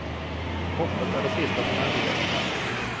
Hoppet är det sista som överger oss.